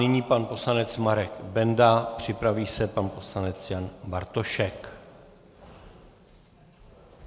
Nyní pan poslanec Marek Benda, připraví se pan poslanec Jan Bartošek.